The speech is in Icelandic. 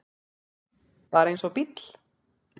Bara eins og bíll.